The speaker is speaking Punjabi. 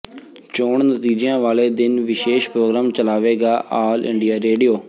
ਚੋਣ ਨਤੀਜਿਆਂ ਵਾਲੇ ਦਿਨ ਵਿਸ਼ੇਸ਼ ਪ੍ਰੋਗਰਾਮ ਚਲਾਵੇਗਾ ਆਲ ਇੰਡੀਆ ਰੇਡੀਓ